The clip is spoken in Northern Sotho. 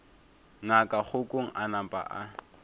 ngaka kgokong a napa a